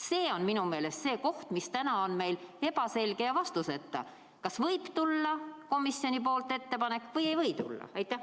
See on minu meelest see, mis meil praegu on ebaselge ja vastuseta: kas võib tulla komisjonilt ettepanek või ei või tulla?